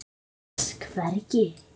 en gras hvergi